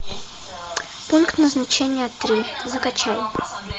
пункт назначения три закачай